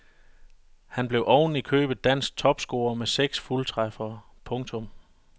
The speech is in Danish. Han blev oven i købet dansk topscorer med seks fuldtræffere. punktum